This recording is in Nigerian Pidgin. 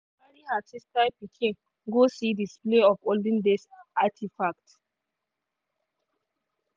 she carry her sister pikin go see display of olden days artifacts.